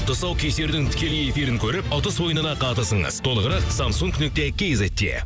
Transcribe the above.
тұсаукесердің тікелей эфирін көріп ұтыс ойынына қатысыңыз толығырақ самсунг нүкте кизетте